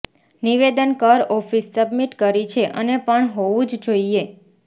નિવેદન કર office submit કરી છે અને પણ હોવું જ જોઈએ